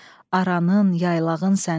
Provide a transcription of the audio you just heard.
Aranın, yaylağın sənin.